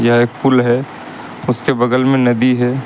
यह एक पुल है उसके बगल में नदी है।